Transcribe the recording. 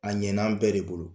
A ɲɛna an bɛɛ de bolo.